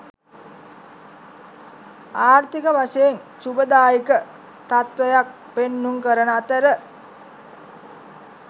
ආර්ථික වශයෙන් ශුභදායක තත්ත්වයක් පෙන්නුම් කරන අතර